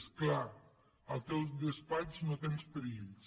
és clar al teu despatx no tens perills